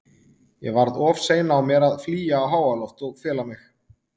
Ég varð of sein á mér að flýja á háaloft og fela mig.